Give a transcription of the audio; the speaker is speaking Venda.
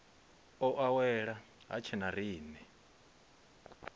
o awela ha tshena riṋe